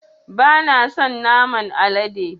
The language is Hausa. Bana son naman alade